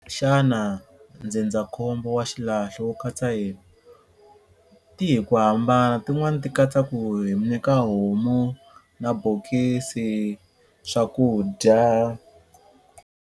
Xana ndzindzakhombo wa xilahlo wu katsa yini? Ti hi ku hambana tin'wani ti katsa ku hi mi nyika homu na bokisi, swakudya